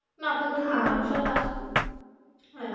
না থাকলে কি মানুষ আজ আসতো. হ্যাঁ.